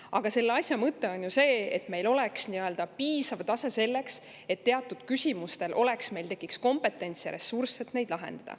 Aga selle asja mõte on see, et meil oleks piisav tase selleks, et teatud küsimuste lahendamiseks tekiks kompetents ja ressurss.